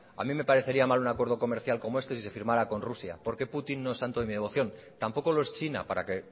a mí me parecía mal un acuerdo comercial con este si se firmará con rusia porque putin no es santo de mi devoción tampoco lo es china para que